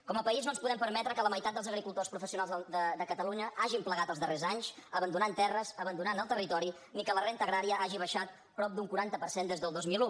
com a país no ens podem permetre que la meitat dels agricultors professionals de catalunya hagin plegat els darrers anys abandonant terres abandonant el territori ni que la renda agrària hagi baixat prop d’un quaranta per cent des del dos mil un